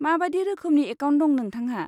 माबादि रोखोमनि एकाउन्ट दं नोंथांहा?